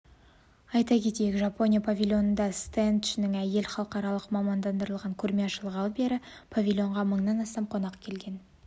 айта кетейік жапония павильонындағы стендшінің әйел халықаралық мамандандырылған көрме ашылғалы бері павильонға мыңнан астам қонақ келген